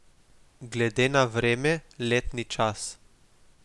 Glede na vreme, letni čas.